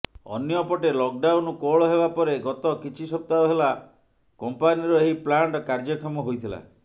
ଅନ୍ୟପଟେ ଲକଡାଉନ କୋହଳ ହେବାପରେ ଗତ କିଛି ସପ୍ତାହ ହେଲା କମ୍ପାନିର ଏହି ପ୍ଲାଣ୍ଟ କାର୍ଯ୍ୟକ୍ଷମ ହୋଇଥିଲା